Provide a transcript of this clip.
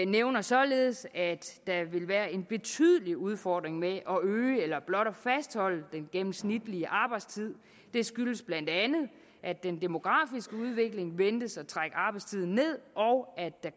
nævner således at der vil være en betydelig udfordring med at øge eller blot at fastholde den gennemsnitlige arbejdstid det skyldes bla at den demografiske udvikling ventes at trække arbejdstiden ned og at der